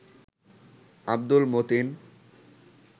Abdul Matin